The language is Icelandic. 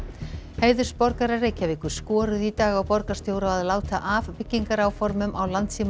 heiðursborgarar Reykjavíkur skoruðu í dag á borgarstjóra að láta af byggingaráformum á